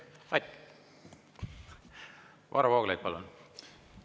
Varro Vooglaid, palun!